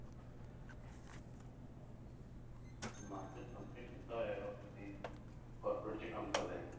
Masters complete ਕੀਤਾ ਹੋਇਆ ਔਰ ਤੁਸੀਂ corporate 'ਚ ਕੰਮ ਕਰ ਰਹੇ ਹੋ।